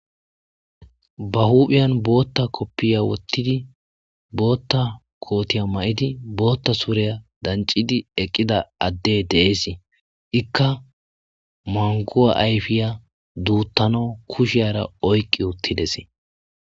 ba huphiyan bootta koppiya wottidi bootta kootiya may7idii bootta suureya dancidi eqqida adde deees ikka manguwa ayfiya duuttano kusheyara oyqqi uttides